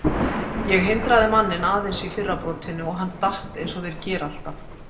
Ég hindraði manninn aðeins í fyrra brotinu og hann datt eins og þeir gera alltaf.